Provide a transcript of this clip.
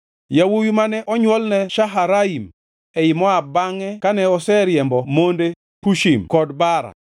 Yawuowi mane onywolne Shaharaim ei Moab bangʼe kane oseriembo monde, Hushim kod Baara.